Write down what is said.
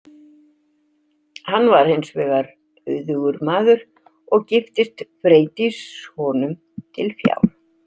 Hann var hins vegar auðugur maður og giftist Freydís honum til fjár.